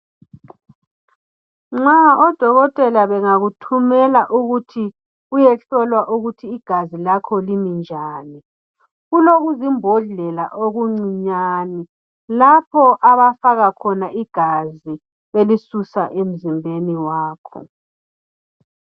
Nxa odokotela bengakuthumela ukuthi uyehlolwa ukuthi igazi lakho limi njani kulokuzimbodlela okuncinyane lapho abafaka khona igazi belisusa emzimbeni wakho.